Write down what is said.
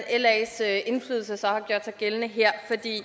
las indflydelse så har gjort sig gældende her